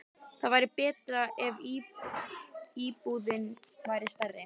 Það væri betra ef íbúðin væri stærri.